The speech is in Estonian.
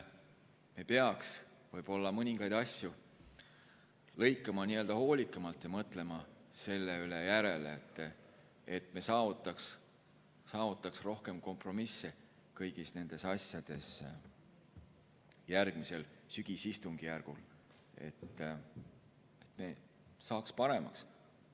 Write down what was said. Me peaks võib-olla mõningaid asju hoolikamalt lõikama ja mõtlema selle üle järele, et me saavutaks rohkem kompromissi kõigis nendes asjades järgmisel, sügisistungjärgul, et see saaks paremaks.